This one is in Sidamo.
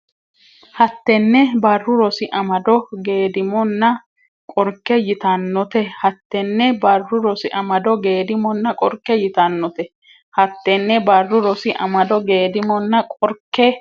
hattenne Barru Rosi Amado Geedimonna qorke yitannote hattenne Barru Rosi Amado Geedimonna qorke yitannote hattenne Barru Rosi Amado Geedimonna qorke.